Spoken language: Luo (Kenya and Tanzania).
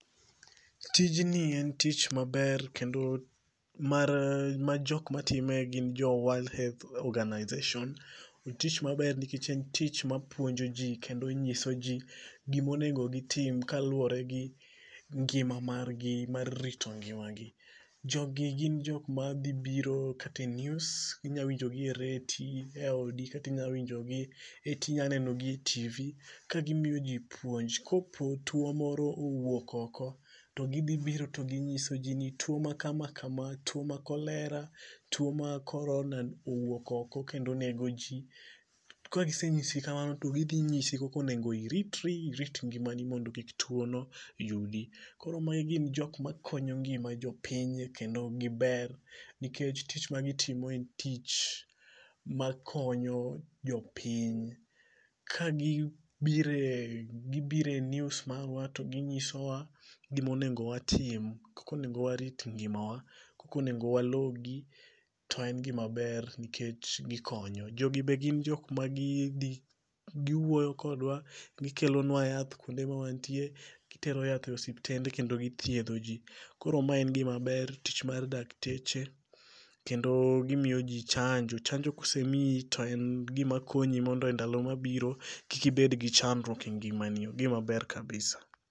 Tijni en tich maber kendo mar majok matime gin to World Health Organization. Otich maber nikech en tich mapuonjo ji kendo nyiso ji gimonengo gitim kaluwore gi ngima mar gi mar rito ngima gi. Jogi gin jok ma dhibiro kata e news. Inya winjogi e reti, e odi kata inyawinjogi, inyaneno gi e TV ka gimiyoji puonj. Kopo tuo moro owuok oko, to gidhi biro to ginyiso ji ni tuo ma kama kama tuo ma cholera, tuo ma corona owuok oko kendo nego ji. Kagisenyisi kamano to gidhi nyisi koko onengo iritri irit ngimani mondo kik tuon no yudi. Koro mae gin jok makonyo ngima jopiny kendo giber nikech tich magitimo en tich makonyo jopiny. Kagibire e news marwa to ginyiso wa gimonengo watim. Koko onengo warit ngimawa. Koko onego walogi. To en gima ber nikech gikonyo. Jogi be gin jok ma gidhi giwuoyo kodwa, gikelonwa yath kuonde ma wantie. Gitero yath e osiptende kendo githiedho ji. Koro ma en gima ber, tich mar dakteche kendo gimiyo ji chanjo. Chanjo kosemiyi to en gima konyi mondo e ndalo mabiro kik ibed gi chandruok e ngima ni. En gima ber kabisa.